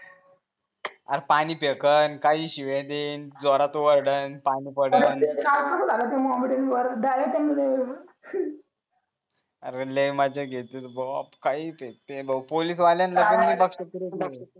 पाणी फेकल काही शिव्या देईल जोरात ओरडल पाणीत पडल अरे लई मजा घेतली बाप काही फेकते पोलीसवाल्यांना पण नाही बक्षत तरी